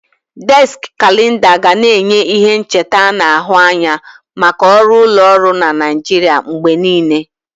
Déski Kalenda ga na-enye ihe ncheta ana ahu anya maka ọrụ ụlọọrụ na Naijiria mgbe niile.